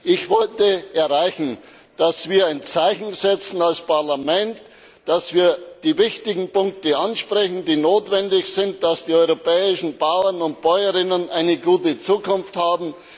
Ich wollte erreichen, dass wir ein Zeichen setzen als Parlament, dass wir die wichtigen Punkte ansprechen, die notwendig sind, dass die europäischen Bäuerinnen und Bauern eine gute Zukunft haben.